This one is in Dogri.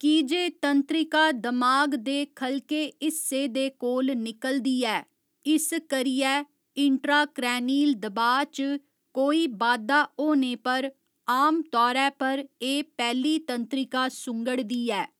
की जे तंत्रिका दमाग दे ख'लके हिस्से दे कोल निकलदी ऐ, इस करियै इंट्राक्रैनील दबाऽ च कोई बाद्धा होने पर आमतौरे पर एह् पैह्‌ली तंत्रिका सुंगड़दी ऐ।